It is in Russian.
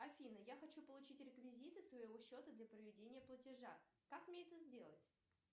афина я хочу получить реквизиты своего счета для проведения платежа как мне это сделать